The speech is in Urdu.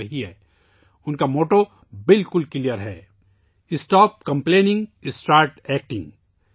اس کا نعرہ بہت واضح ہے ' شکایت کرنا بند کرو، عمل کرنا شروع کرو ' 'اسٹاپ کمپلیننگ، اسٹارٹ ایکٹنگ'